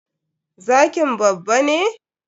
Zkin babba ne?